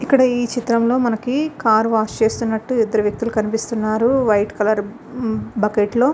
ఇక్కడ ఈ చిత్రంలో మనకి కార్ వాష్ చేస్తున్నట్లు ఇద్దరు వ్యక్తులు కనిపిస్తున్నారు వైట్ కలర్ బకెట్ లో --